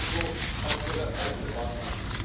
Sie tun gerade so, als wäre das alles in Ordnung.